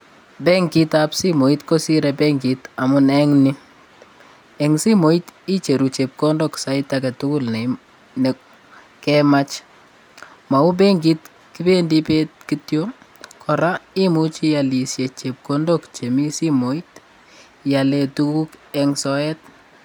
Benkitab simooit kisirei benkit amuu eng'ni eng' simooit icheruu chepkondok sait agetugul nekemach. Mauu benkit kibendii bett kityo kora imuchi iyalishe chepkondok chemii simooit iyalee tuguk eng' soeet.